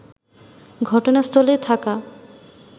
ঘটনাস্থলে থাকা